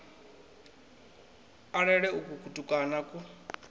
a lele uku kutukana ku